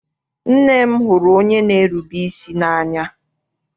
Nne m hụrụ onye n'erube isi n'anya.